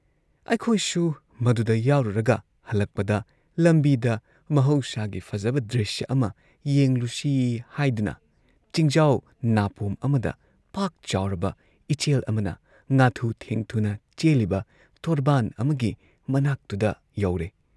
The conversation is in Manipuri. ꯑꯩꯈꯣꯏꯁꯨ ꯃꯗꯨꯗ ꯌꯥꯎꯔꯨꯔꯒ ꯍꯜꯂꯛꯄꯗ ꯂꯝꯕꯤꯗ ꯃꯍꯧꯁꯥꯒꯤ ꯐꯖꯕ ꯗ꯭ꯔꯤꯁ꯭ꯌ ꯑꯃ ꯌꯦꯡꯂꯨꯁꯤ ꯍꯥꯏꯗꯨꯅ ꯆꯤꯡꯖꯥꯎ ꯅꯥꯄꯣꯝ ꯑꯃꯗ ꯄꯥꯛ ꯆꯥꯎꯔꯕ ꯏꯆꯦꯜ ꯑꯃꯅ ꯉꯥꯊꯨ ꯊꯦꯡꯊꯨꯅ ꯆꯦꯜꯂꯤꯕ ꯇꯣꯔꯕꯥꯟ ꯑꯃꯒꯤ ꯃꯅꯥꯛꯇꯨꯗ ꯌꯧꯔꯦ